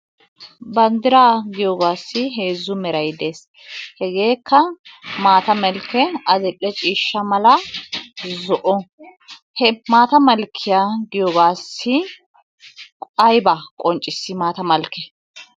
Banddra giyooge heezzu meray de'ees. Hegekka maata malkke, adl"e ciishsha mala, zo"o. He maata malkke diyoogassi aybba qonccissi maata malkee?